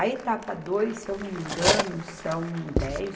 A etapa dois, se eu não me engano, são dez